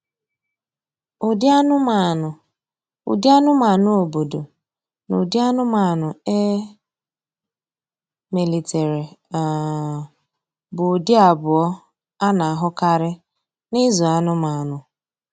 Ụdị anụmanụ Ụdị anụmanụ obodo na ụdị anụmanụ e melitere um bụ ụdị abụọ a na-ahụkarị na ịzụ anụmanụ.